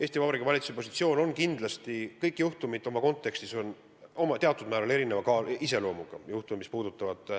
Eesti Vabariigi valitsuse positsioon on, et kindlasti kõik juhtumid on teatud määral erineva iseloomuga.